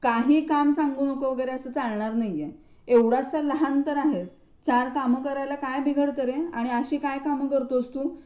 काही काम सांगू नको वगैरे असं चालणार नाहीये. एवढासा लहान तर आहेस, चार कामं करायला काय बिघडतं रे? आणि अशी काय कामं करतोस तू?